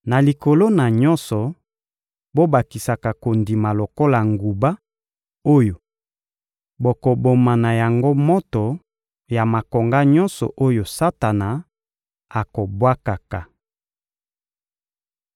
Na likolo na nyonso, bobakisaka kondima lokola nguba oyo bokoboma na yango moto ya makonga nyonso oyo Satana akobwakaka.